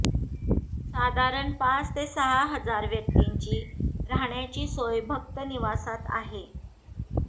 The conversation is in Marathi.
साधारण पाच ते सहा हजार व्यक्तींची राहण्याची सोय भक्तनिवासात आहे